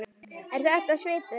Er þetta svipuð